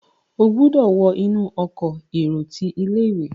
o gbódò wọ inú Ọkọ̀ èrò tí ilé-ìwé!